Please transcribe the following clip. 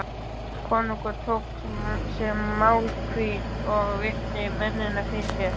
Konungur tók sér málhvíld og virti mennina fyrir sér.